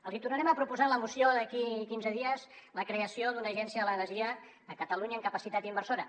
els tornarem a proposar en la moció d’aquí a quinze dies la creació d’una agència de l’energia a catalunya amb capacitat inversora